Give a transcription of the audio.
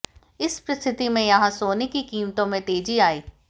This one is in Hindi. इस परिस्थिति में यहां सोने की कीमतों में तेजी आई